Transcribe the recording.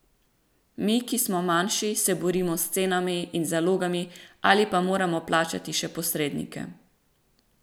Mi, ki smo manjši, se borimo s cenami in zalogami ali pa moramo plačati še posrednike.